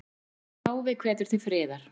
Páfi hvetur til friðar